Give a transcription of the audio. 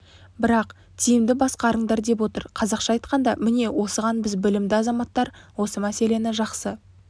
бірақ тиімді басқарыңдар деп отыр қазақша айтқанда міне осыған біз білімді азаматтар осы мәселені жақсы